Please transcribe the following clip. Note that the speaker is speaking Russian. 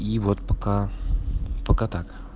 и вот пока пока так